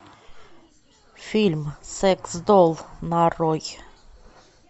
фильм секс долл нарой